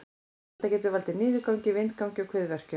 Þetta getur valdið niðurgangi, vindgangi og kviðverkjum.